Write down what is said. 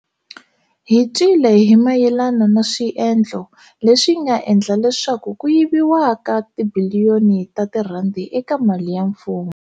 Hi twile hi mayelana na swiendlo leswi nga endla leswaku ku yiviwa ka tibiliyoni ta tirhandi eka mali ya mfumo.